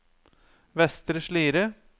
Vestre Slidre